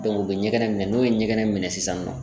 u bɛ ɲɛgɛnɛ minɛ n'o ye ɲɛgɛnɛ minɛ sisan nɔ.